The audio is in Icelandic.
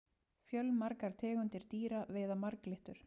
fjölmargar tegundir dýra veiða marglyttur